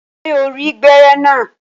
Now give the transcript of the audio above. Ṣé o rí gbẹ́rẹ́ naa?